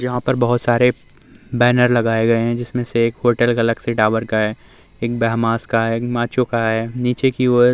यहाँ पर बहोत सारे बैनर लगाए गए है जिसमे से एक होटल गेलेक्सी टावर का है। एक ब्रह्माश का है। एक माचो का है। नीचे की ओर --